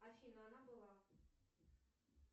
афина она была